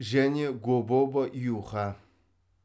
және гобова юха